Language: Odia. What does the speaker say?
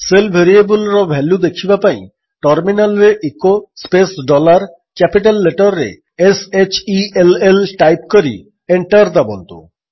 ଶେଲ୍ ଭେରିଏବଲ୍ ର ଭାଲ୍ୟୁ ଦେଖିବା ପାଇଁ ଟର୍ମିନାଲ୍ରେ echo space dollar capital letter ରେ s h e l ଲ୍ ଟାଇପ୍ କରି ଏଣ୍ଟର୍ ଦାବନ୍ତୁ